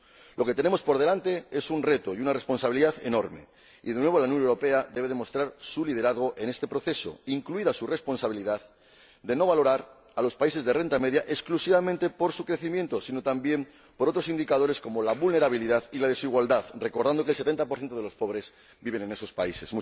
Lo que tenemos por delante es un reto y una responsabilidad enorme, y de nuevo la Unión Europea debe demostrar su liderazgo en este proceso, incluida su responsabilidad de no valorar a los países de renta media exclusivamente por su crecimiento, sino también por otros indicadores como la vulnerabilidad y la desigualdad, recordando que el 70 de los pobres vive en esos países.